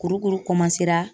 Kurukuru